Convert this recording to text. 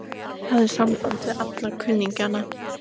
Ég hafði samband við alla kunningjana.